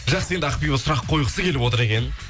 жақсы енді ақбибі сұрақ қойғысы келіп отыр екен